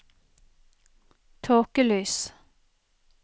tåkelys